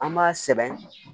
An b'a sɛbɛn